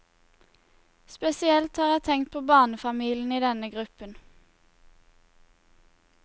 Spesielt har jeg tenkt på barnefamiliene i denne gruppen.